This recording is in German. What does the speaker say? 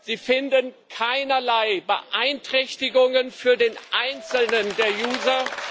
Sie finden keinerlei Beeinträchtigungen für den einzelnen Nutzer.